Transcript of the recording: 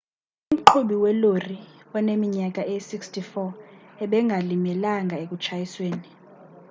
umqhubi welori oneminyaka eyi-64 ebengalimelanga ekutshayisweni